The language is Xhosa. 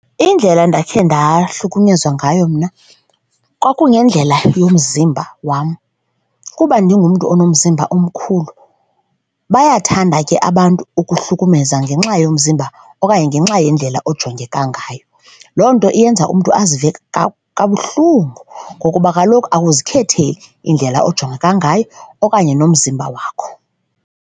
Indlela ndakhe ndahlukunyezwa ngayo mna kwakungendlela yomzimba wam kuba ndingumntu unomzimba omkhulu, bayathanda ke abantu ukuhlukumeza ngenxa yomzimba okanye ngenxa yendlela ojonga ngayo. Loo nto iyenza umntu azive buhlungu ngokuba kaloku ukuzikhethela indlela ojongeka ngayo okanye nomzimba wakho.